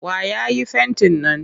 Wa ya yi fentin nan?